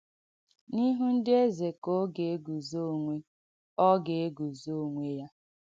N’īhụ́ ndị èze ka ọ ga-ègúzọ onwé ọ ga-ègúzọ onwé yà.